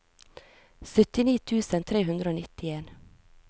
syttini tusen tre hundre og nittien